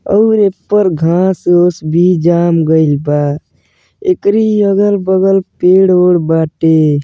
और एपर घास ऑस भी जाम गइल बा एकरी अगल बगल पेड़ ओड़ बाटे ।